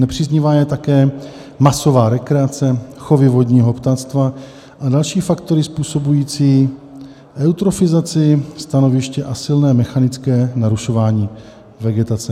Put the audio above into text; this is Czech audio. Nepříznivá je také masová rekreace, chovy vodního ptactva a další faktory způsobující eutrofizaci stanoviště a silné mechanické narušování vegetace.